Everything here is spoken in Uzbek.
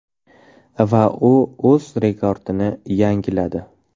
Va u o‘z rekordini yangiladi.